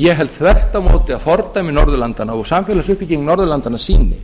ég held þvert á móti að fordæmi norðurlandanna og samfélagsuppbygging norðurlandanna sýni